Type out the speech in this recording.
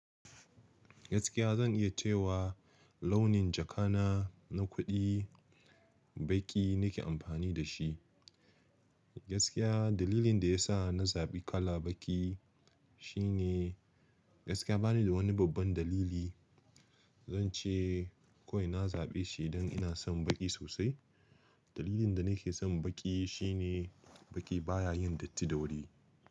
Gaskiya zan iya cewa launin jaka na, na kuɗi, baƙi nake amfani da shi. Gaskiya dalilin da ya sa na zaɓi kala baƙi shine gaskiya bani da wani babban dalili. Zan ce kawai na zaɓe shi don ina son baƙi sosai. Dalilin da na ke son baƙi shine baƙi baya yin datti da wuri.